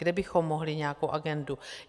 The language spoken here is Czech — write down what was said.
Kde bychom mohli nějakou agendu?